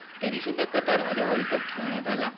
तरीसुद्धा कतारमध्ये world cup ठेवण्यात आला.